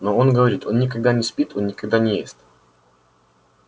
но он говорит он никогда не спит он никогда не ест